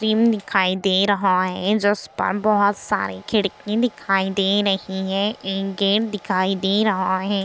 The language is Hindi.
क्रीम दिखाई दे रहा है जिसपर बहुत सारी खिड़की दिखाई दे रही है एक गेट दिखाई दे रहा है।